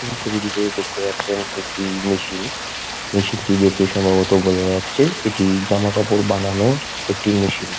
এই ছবিটিতে দেখতে পারছেন একটি মেশিন মেশিন -টি দেখে সম্ভবত বোঝা যাচ্ছে এটি জামাকাপড় বানানোর একটি মেশিন ।